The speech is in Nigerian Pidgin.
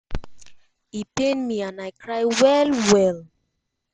e pain me and i cry well well